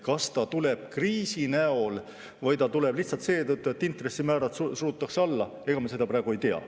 Kas see tuleb kriisi näol või lihtsalt seetõttu, et intressimäärad surutakse alla, seda me praegu ei tea.